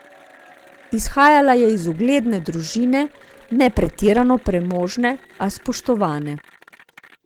Izhajala je iz ugledne družine, ne pretirano premožne, a spoštovane.